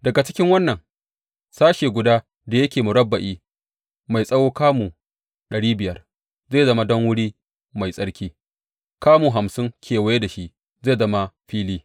Daga cikin wannan, sashe guda da yake murabba’i mai tsawo kamu dari biyar zai zama don wuri mai tsarki, kamu hamsin kewaye da shi zai zama fili.